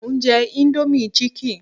Mò ń jẹ indomie chicken